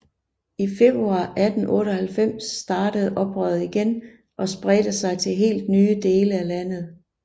I februar 1898 startede oprøret igen og spredte sig til helt nye dele af landet